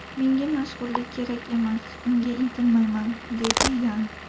Menga mashhurlik kerak emas, unga intilmayman”, deydi Yan.